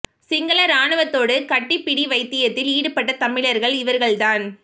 சிங்கள ராணுவத்தோடு கட்டிப் பிடி வைத்தியத்தில் ஈடுபட்ட தமிழர்கள் இவர்கள் தான்